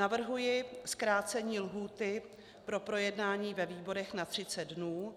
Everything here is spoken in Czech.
Navrhuji zkrácení lhůty pro projednání ve výborech na 30 dnů